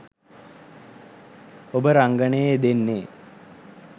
ඔබ රංගනයේ යෙදෙන්නේ